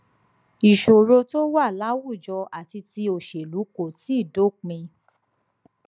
ìṣòro tó wà láwùjọ àti ti òṣèlú kò tíì dópin